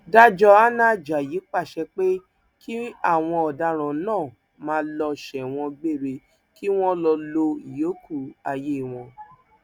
dájọ hannah ajayi pàṣẹ pé kí àwọn ọdaràn náà máa lọ sẹwọn gbére kí wọn lọọ lo ìyókù ayé wọn